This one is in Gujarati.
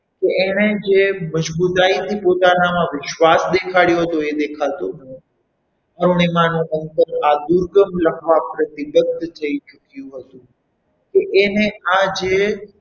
તો એણે જે મજબૂતાઈ થી પોતાનામાં વિશ્વાસ દેખાડ્યો હતો એ દેખાતો ન હતો અરુણીમાં નું આ દુર્ગમ લખન એને આજે,